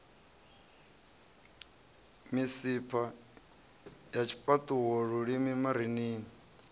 misipha ya tshifhaṱuwo lulimi marinini